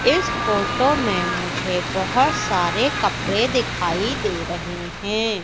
इस फोटो मे मुझे बहोत सारे कपड़े दिखाई दे रहे हैं।